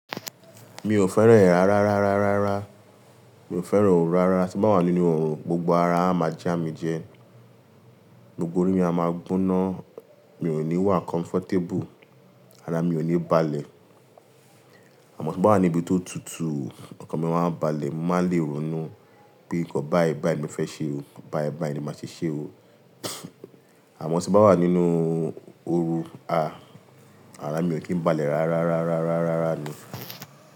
Mi ò fẹ́ràn rárá, rárá, rárá, rárá. Mi ò fẹ́ràn oó rárá. Tí bá wà nínú oòrùn, gbogbo ara máa jámijẹ, gbogbo orí mi á máa gbóná, mi ò ní wà làlàáfiá, ara mi ò ní balẹ̀. Àmọ́ tí bá wà ní ibi tó tutù, ọkàn mi máa ń balẹ̀, mo má lè ronú pé nǹkan bá ẹ báyi, mi fẹ́ ṣe o. Bá ẹ báyi ni màá ṣe ṣe o. Àmọ́ tí bá wà nínú ooru, ara mi ò kí ń balẹ̀ rárá, rárá, rárá, rárá, rárá ni.